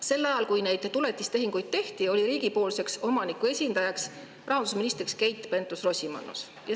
Sel ajal, kui neid tuletistehinguid tehti, oli riigipoolseks omaniku esindajaks rahandusminister Keit Pentus-Rosimannus.